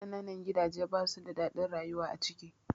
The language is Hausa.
Ƙananan gidaje ba su da daɗin rayuwa a ciki